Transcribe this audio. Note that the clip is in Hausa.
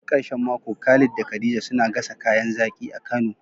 Duk ƙarshen mako Khalid da Khadija suna gasa kayan zaƙi a kano.